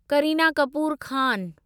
Kareena Kapoor Khan